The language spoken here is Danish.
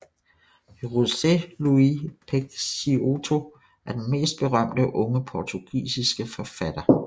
José Luís Peixoto er den mest berømte unge portugisiske forfatter